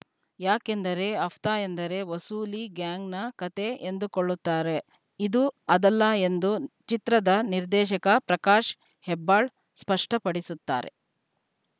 ಯಾಕೆಂದರೆ ಹಫ್ತಾ ಎಂದರೆ ವಸೂಲಿ ಗ್ಯಾಂಗ್‌ನ ಕತೆ ಎಂದುಕೊಳ್ಳುತ್ತಾರೆ ಇದು ಅದಲ್ಲ ಎಂದು ಚಿತ್ರದ ನಿರ್ದೇಶಕ ಪ್ರಕಾಶ್‌ ಹೆಬ್ಬಾಳ ಸ್ಪಷ್ಟಪಡಿಸುತ್ತಾರೆ